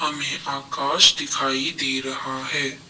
मे आकाश दिखाई दे रहा है।